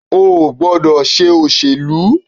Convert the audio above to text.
O ò gbọ́dọ̀ ṣe òṣèlú.